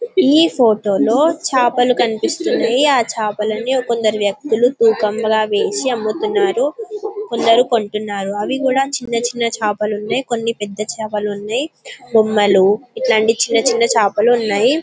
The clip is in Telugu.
ఈ ఫోటో లో చాపలు కనిపిస్తునై ఆ చాపలని కొందరు వ్యక్తులు తూకం లాగా వేసి అమ్ముతున్నారు కొందరు కొంటున్నారు అవి కూడా చిన్న చిన్న చాపలు ఉనై కొన్ని పెద్ద పెద్ద చాపలు ఉనై బొమ్మలు ఇట్లాంటి చిన చిన చాపలు ఉనై .